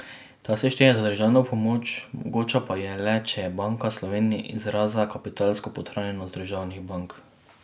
Ta se šteje za državno pomoč, mogoča pa je le, če je Banka Slovenije izkazala kapitalsko podhranjenost državnih bank.